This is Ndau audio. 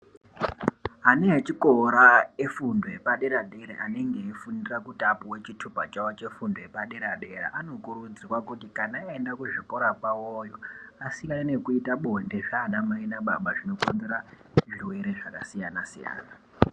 Ana echikora efundo yepadera dera anenge eifundira kuti apuwe chitupa Chavo chefundo epadera dera anokurudzirwa kuti kana aenda kuzvikora kwavo iyo asiyane nekuita bonde zvana Mai nababa zvinokonzera zvirwere zvakasiyana-siyana.